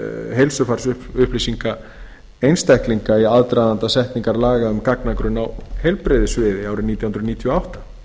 heilsufarsupplýsinga einstaklinga í aðdraganda setningar laga um gagnagrunn á heilbrigðissviði árið nítján hundruð níutíu og átta